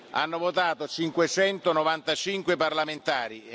Hanno votato 595 parlamentari.